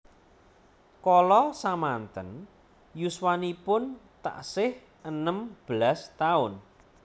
Kala samanten yuswanipun taksih enem belas taun